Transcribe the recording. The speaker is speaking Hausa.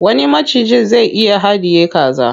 Wani macijin zai iya haɗiye kaza.